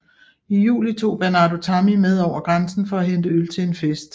I juli tog Bernardo Tammy med over grænsen for at hente øl til en fest